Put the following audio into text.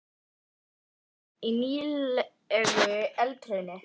Huldufólk vill ekki búa í nýlegu eldhrauni.